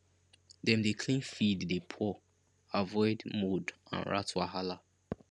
dem dey clean feed dey pour avoid mould and rat wahala